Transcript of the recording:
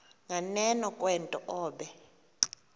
nganeno kwento obe